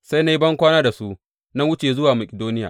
Sai na yi bankwana da su na wuce zuwa Makidoniya.